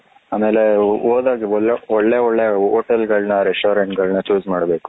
ಆಮೇಲ್ ಹೋದಾಗ ಒಳ್ಳೆ ಒಳ್ಳೆ ಹೋಟೆಲ್ಗಳನ್ನು restaurant ಗಳನ choose ಮಾಡಬೇಕು.